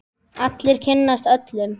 Allir kynnast öllum.